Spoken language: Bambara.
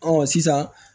Ɔ sisan